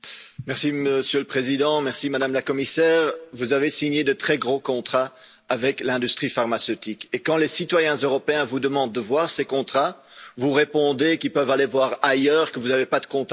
Monsieur le Président, Madame la Commissaire, vous avez signé de très gros contrats avec l'industrie pharmaceutique, et quand les citoyens européens vous demandent de voir ces contrats, vous répondez qu'ils peuvent aller voir ailleurs, que vous n'avez pas de comptes à rendre.